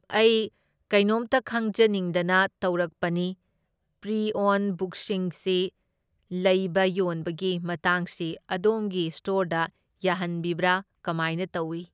ꯑꯩ ꯀꯩꯅꯣꯝꯇ ꯈꯪꯖꯅꯤꯡꯗꯅ ꯇꯧꯔꯛꯄꯅꯤ, ꯄ꯭ꯔꯤ ꯑꯣꯟ ꯕꯨꯛꯁꯤꯡꯁꯤ ꯂꯩꯕ ꯌꯣꯟꯕꯒꯤ ꯃꯇꯥꯡꯁꯤ ꯑꯗꯣꯝꯒꯤ ꯁ꯭ꯇꯣꯔꯗ ꯌꯥꯍꯟꯕꯤꯕ꯭ꯔꯥ? ꯀꯃꯥꯏꯅ ꯇꯧꯢ?